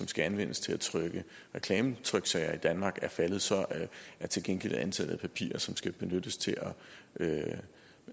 skal anvendes til at trykke reklametryksager i danmark er faldet så er til gengæld antallet af papirer som skal benyttes til